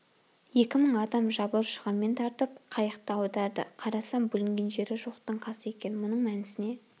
екі мың адам жабылып шығырмен тартып қайықты аударды қарасам бүлінген жері жоқтың қасы екен мұның мәнісіне